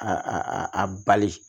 A a bali